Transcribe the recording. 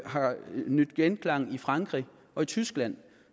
har vundet genklang i frankrig og tyskland